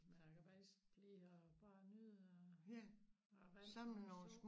Men jeg kan faktisk lide at bare nyde og æ vand og sol